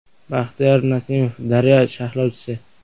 Baxtiyor Nasimov, “Daryo” sharhlovchisi.